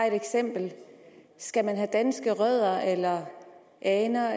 et eksempel skal man have danske rødder eller aner